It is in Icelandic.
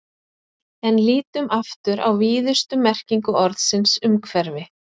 En lítum aftur á víðustu merkingu orðsins umhverfi.